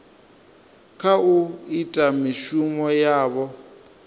kha u ita mishumo yavho